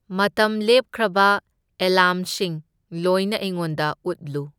ꯃꯇꯝ ꯂꯦꯞꯈ꯭ꯔꯕ ꯑꯦꯂꯥꯝꯁꯤꯡ ꯂꯣꯏꯅ ꯑꯩꯉꯣꯟꯗ ꯎꯠꯂꯨ꯫